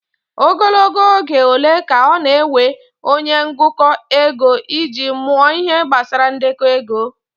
Ogologo oge ole ka ọ na-ewe onye ngụkọ ego iji mụọ Ihe gbasara ndekọ ego?